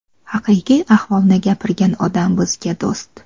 Haqiqiy ahvolni gapirgan odam bizga do‘st.